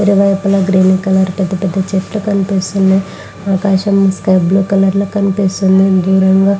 ఇరువైపుల green colour పెద్ద పెద్ద చెట్లు కనిపిస్తున్నాయ్. ఆకాశం స్కై బ్లూ కలర్ లో కనిపిస్తుంది. రిమెంబర్ --